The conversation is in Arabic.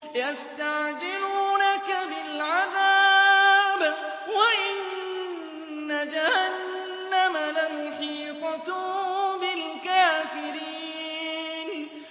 يَسْتَعْجِلُونَكَ بِالْعَذَابِ وَإِنَّ جَهَنَّمَ لَمُحِيطَةٌ بِالْكَافِرِينَ